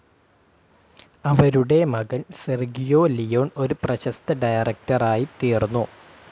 അവരുടെ മകൻ Sergio Leone ഒരു പ്രശസ്ത ഡയറക്ടറായി തീർന്നു.